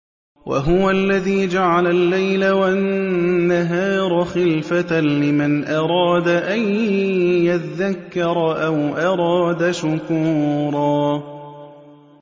وَهُوَ الَّذِي جَعَلَ اللَّيْلَ وَالنَّهَارَ خِلْفَةً لِّمَنْ أَرَادَ أَن يَذَّكَّرَ أَوْ أَرَادَ شُكُورًا